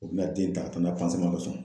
U bɛna den ta ka na ko sɔn.